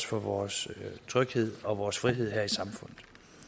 for vores tryghed og vores frihed her i samfundet